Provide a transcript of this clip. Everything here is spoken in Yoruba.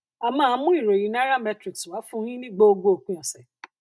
a máa mú ìròyìn nairametrics wá fún yín ní gbogbo òpin ọsẹ